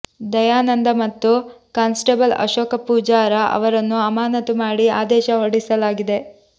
ದಯಾನಂದ ಮತ್ತು ಕಾನ್ಸ್ಟೆಬಲ್ ಅಶೋಕ ಪೂಜಾರ ಅವರನ್ನು ಅಮಾನತು ಮಾಡಿ ಆದೇಶ ಹೊರಡಿಸಲಾಗಿದೆ